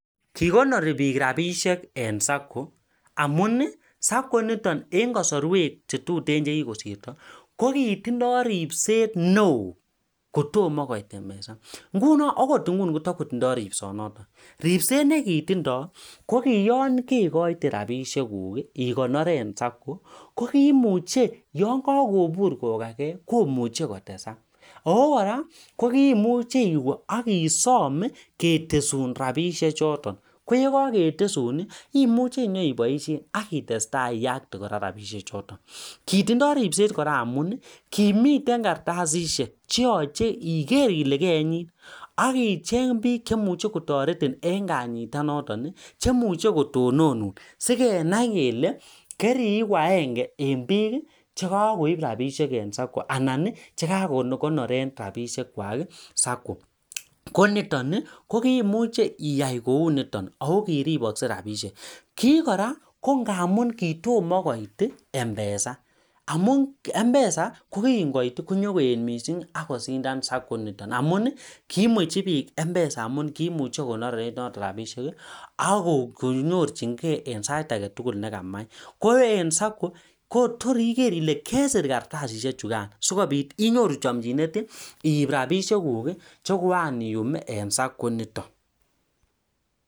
Amuu (sacco) kitindoi ripset neoo kotomo koit (mpesa) kitesaksei rabishek chotok kotebii missing akimuchii isom rabishek alak